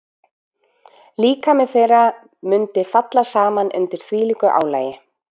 Líkami þeirra mundi falla saman undir þvílíku álagi.